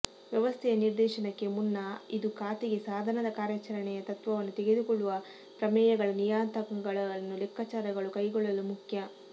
ವ್ಯವಸ್ಥೆಯ ನಿರ್ದೇಶನಕ್ಕೆ ಮುನ್ನ ಇದು ಖಾತೆಗೆ ಸಾಧನದ ಕಾರ್ಯಾಚರಣೆಯ ತತ್ವವನ್ನು ತೆಗೆದುಕೊಳ್ಳುವ ಪ್ರಮೇಯಗಳ ನಿಯತಾಂಕಗಳನ್ನು ಲೆಕ್ಕಾಚಾರಗಳು ಕೈಗೊಳ್ಳಲು ಮುಖ್ಯ